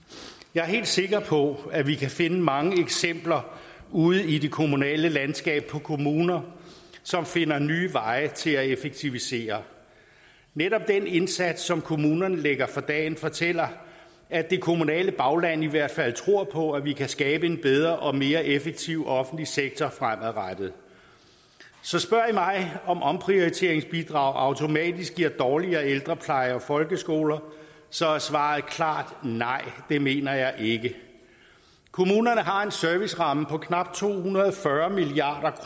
jeg er helt sikker på at vi kan finde mange eksempler ude i det kommunale landskab på kommuner som finder nye veje til at effektivisere netop den indsats som kommunerne lægger for dagen fortæller at det kommunale bagland i hvert fald tror på at vi kan skabe en bedre og mere effektiv offentlig sektor fremadrettet så spørger i mig om et omprioriteringsbidrag automatisk giver dårligere ældrepleje og folkeskoler så er svaret klart nej det mener jeg ikke kommunerne har en serviceramme på knap to hundrede og fyrre milliard